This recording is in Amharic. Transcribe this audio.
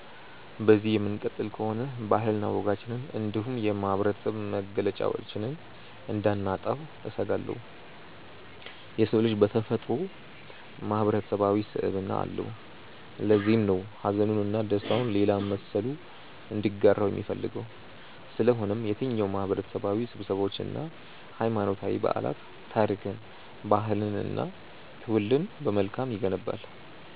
በዚሁ የምንቀጥል ከሆነ ባህልና ወጋችንን እንዲሁም የማህበረሰብ መገለጫችንን እንዳናጣው እሰጋለሁ። የሰው ልጅ በተፈጥሮው ማህበረሰባዊ ስብዕና አለው። ለዚህም ነው ሀዘኑን እና ደስታውን ሌላ መሰሉ እንዲጋራው የሚፈልገው። ስለሆነም የትኛውም ማህበረሰባዊ ስብሰባዎች እና ሀይማኖታዊ በዓላት ታሪክን፣ ባህልንን እና ትውልድን በመልካም ይገነባል።